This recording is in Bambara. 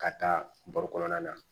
Ka taa baro kɔnɔna na